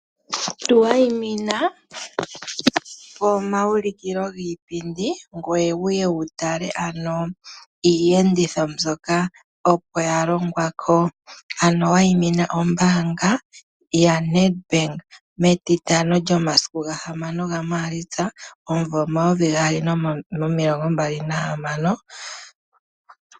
Tuwayimina pomaulikilo giipindi ngoye wuye wu tale ano iiyenditho mbyoka ano opo ya longwa ko. Ano wayimina ombaanga yaNED BANK metitano lyomasiku ga6 Maalitsa 2026.